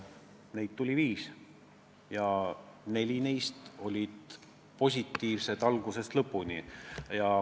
Neid tuli viis ja neli neist olid positiivsed algusest lõpuni.